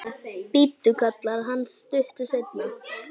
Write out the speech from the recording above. Bíddu, kallar hann stuttu seinna.